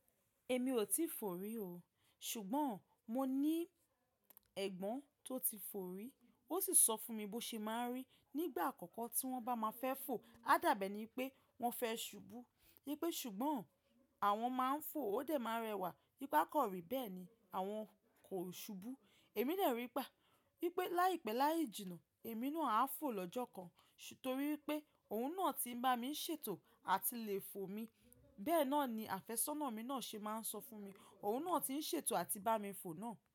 Èmi ò tíì fò rí o, ṣùgbọ́n mo ní ẹ̀gbọ́n tó ti fò rí, ó sì sọ fún mi bó ṣe máa ń rí nígbà àkọ́kọ́ tí wọ́n bá máa fẹ́ fò, a dàbẹ ní pé wọ́n fẹ́ ṣubú, wípé ṣùgbọ́n àwọn máa ń fò ó dẹ̀ máa rẹwà, wí pe a kan ri bẹ́ẹ̀ ni àwọn kò ṣubú. Èmi dè wípé láìpẹ́ láì jìnnà, èmi náà á fò lọ́jọ́ kan, torí wípé òun náà ti ń bá mi ń ṣètò àti lè fò mi. Bẹ́ẹ̀ náà ni àfẹ́sọ́nà mi náà ṣe máa ń sọ fún mi. Òun náà tí ń ṣètò àti bá mi fò náà.